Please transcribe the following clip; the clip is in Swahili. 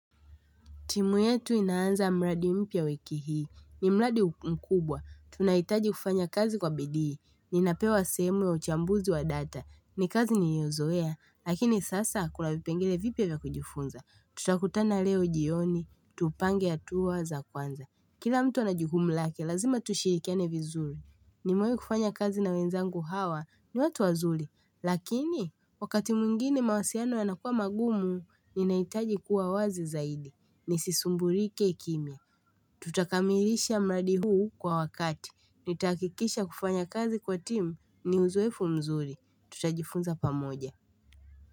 Timu yetu inaanza mradi mpya wiki hii. Ni mladi mkubwa. Tunaitaji kufanya kazi kwa bidii Ninapewa simu ya uchambuzi wa data. Ni kazi niliyozoea. Lakini sasa kuna vipengele vipya vya kujifunza. Tutakutana leo jioni. Tupange atua za kwanza. Kila mtu ana jukumu lake. Lazima tushirikiane vizuri. Ni muimu kufanya kazi na wenzangu hawa. Ni watu wazuri. Lakini wakati mwengine mawasiano yanakuwa magumu. Ninaitaji kuwa wazi zaidi. Nisisumburike kimya Tutakamilisha mladi huu kwa wakati Nitaakikisha kufanya kazi kwa timu ni uzoefu mzuri Tutajifunza pamoja.